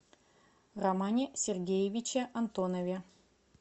романе сергеевиче антонове